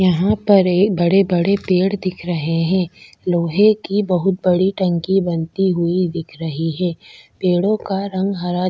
यहाँ पर एक बड़े-बड़े पेड़ दिख रहे है लोहे की बहोत बड़ी टंकी बनती हुई दिख रही है पेड़ो का रंग हरा--